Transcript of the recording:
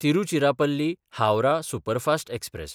तिरुचिरापल्ली–हावराह superfast express